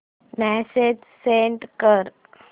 message send कर